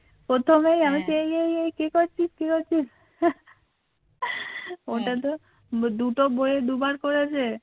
দুটো বইয়ে দুবার করেছে